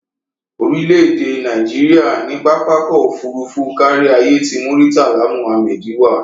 Orílẹ̀-èdè Nàìjíríà ní pápá ọkọ̀ òfuurufú káríayé ti Murtala Muhammed wà.